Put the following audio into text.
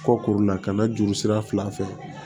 Kɔkoro la ka na juru sira fila fɛ